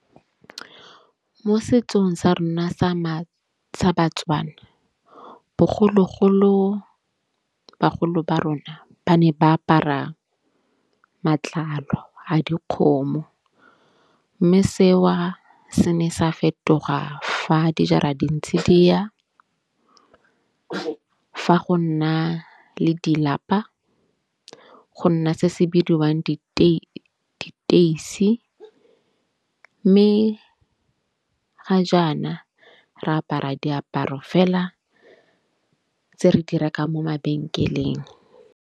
Mo setsong sa rona sa sa ba-Tswana bogologolo, bagolo ba rona ba ne ba apara matlalo a dikgomo. Mme seo se ne sa fetoga fa dijara dintsi di ya fa go nna le dilapa. Go nna se se bidiwang diteisi mme ga jaana re apara diaparo fela tse re di rekang mo mabenkeleng.